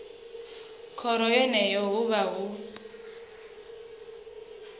khoro yeneyo hu vha hu